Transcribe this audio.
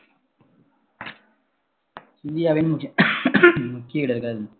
இந்தியாவின் முக்கிய இடர்கள்